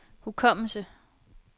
hukommelse